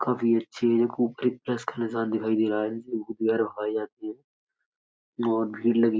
काफ़ी अच्छी है। खूब के साथ दिखाई दे रहा है जो जाती है। बोहत भीड़ लगी --